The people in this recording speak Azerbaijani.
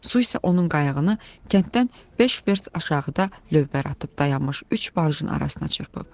Su isə onun qayıgını kənddən beş vers aşağıda lövbər atıb dayanmış üç barjın arasına çırpıb.